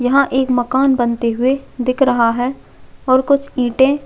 यहाँ एक मकान बनते हुए दिख रहा है और कुछ ईटे --